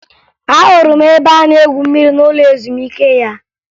Ahụrụ m ebe a na-egwu mmiri n'ụlọ ezumike ya